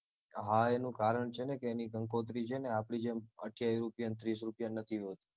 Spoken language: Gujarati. હા એનું કારણ છે ને કે એની કંકોત્રી છે ને આપડી જેમ અઠ્યાવીસ રૂપ્યાની ત્રીસ રૂપ્યાની નથી હોતી